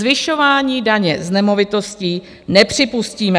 Zvyšování daně z nemovitostí nepřipustíme.